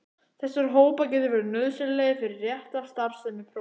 Þessir hópar geta verið nauðsynlegir fyrir rétta starfsemi prótíns.